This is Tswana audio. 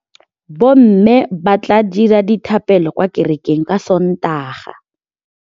Bommê ba tla dira dithapêlô kwa kerekeng ka Sontaga.